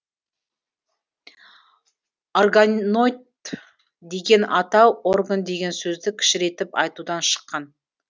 орга ноид деген атау орган деген сөзді кішірейтіп айтудан шыққан